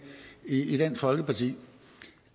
i dansk folkeparti